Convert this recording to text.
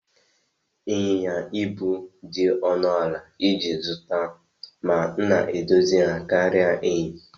Ịnyịnya ibu dị ọnụ ala iji zụta ma na-edozi ha karịa èhi